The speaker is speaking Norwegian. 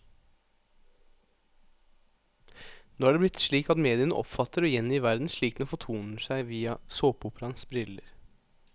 Nå er det blitt slik at mediene oppfatter og gjengir verden slik den fortoner seg via såpeoperaens briller.